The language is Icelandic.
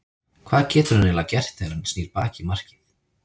Hvað getur hann eiginlega gert þegar að hann snýr baki í markið?